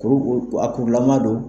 Kurukuru , kuru jama don.